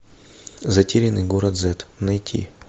затерянный город зет найти